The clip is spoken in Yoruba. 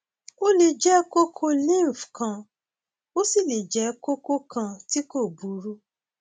ó lè jẹ kókó lymph kan ó sì lè jẹ kókó kan tí kò burú